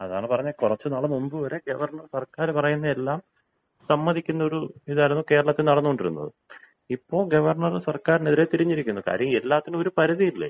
അതാണ് പറഞ്ഞത് കുറച്ചുനാൾ മുൻപ് വരെ ഗവർണർ സർക്കാർ പറയുന്നതെല്ലാം സമ്മതിക്കുന്ന ഒരു ഇതായിരുന്നു കേരളത്തിൽ നടന്നുകൊണ്ടിരുന്നത്. ഇപ്പോ ഗവർണറ് സർക്കാരിനെതിരെ തിരിഞ്ഞിരിക്കുന്നു. കാര്യം എല്ലാത്തിനും ഒരു പരിധിയില്ലേ?